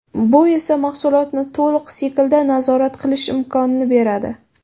Bu esa mahsulotni to‘liq siklda nazorat qilish imkonini beradi.